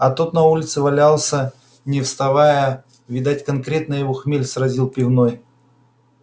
а тот на улице валялся не вставая видать конкретно его хмель сразил пивной